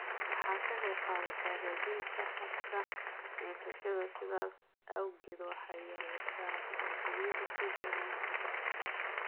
Waxay ka qaybqaadataa hagaajinta habka neefsashada, sidaas awgeed waxay yareysaa dhibaatooyinka sida neefta.